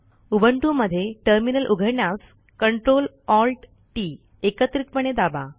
Ubuntu मध्ये terminal उघडण्यासCtrl Alt T T एकत्रितपणे दाबा